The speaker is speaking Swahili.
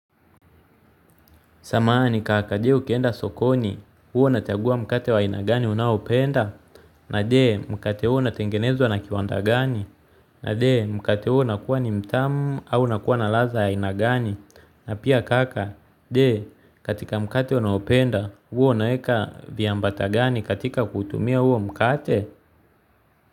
Samahani kaka je ukienda sokoni, huwa unajagua mkate wa ina gani unaopenda, na je mkate huo unatengenezwa na kiwanda gani, na je mkate huo nakuwa ni mtamu au nakuwa na ladha ya ina gani, na pia kaka, je katika mkate unaopenda huwa unaeka viambata gani katika kutumia huo mkate.